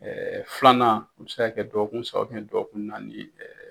filanan o bi se ka kɛ dɔgɔkun saba dɔkun naani.